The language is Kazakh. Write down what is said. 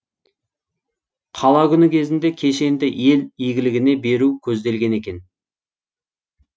қала күні кезінде кешенді ел игілігіне беру көзделген екен